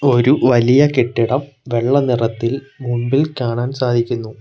ഒരു വലിയ കെട്ടിടം വെള്ള നിറത്തിൽ മുമ്പിൽ കാണാൻ സാധിക്കുന്നു.